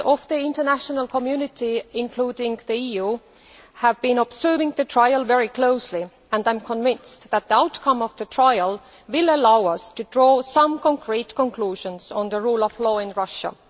Members of the international community, including the EU, have been observing the trial very closely, and I am convinced that the outcome of the trial will allow us to draw some concrete conclusions about the rule of law in Russia.